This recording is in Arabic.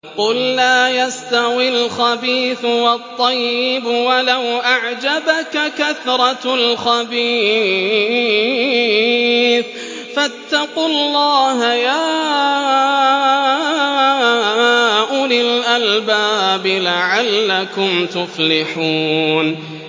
قُل لَّا يَسْتَوِي الْخَبِيثُ وَالطَّيِّبُ وَلَوْ أَعْجَبَكَ كَثْرَةُ الْخَبِيثِ ۚ فَاتَّقُوا اللَّهَ يَا أُولِي الْأَلْبَابِ لَعَلَّكُمْ تُفْلِحُونَ